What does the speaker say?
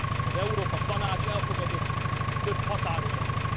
Az Európa Tanács elfogadott több határozatot.